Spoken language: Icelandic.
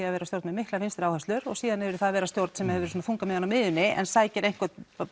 að vera stjórn með miklar vinstri áherslur og síðan yfir í að vera stjórn sem hefur þungann á miðjunni en sækir einhvern